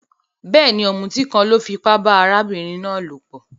Béèni, òmùtí kan lo fipá ba arábìnrin náà lòpò